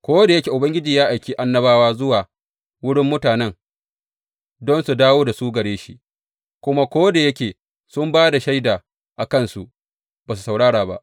Ko da yake Ubangiji ya aiki annabawa zuwa wurin mutane don su dawo da su gare shi, kuma ko da yake sun ba da shaida a kansu, ba su saurara ba.